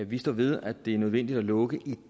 vi står ved at det er nødvendigt at lukke i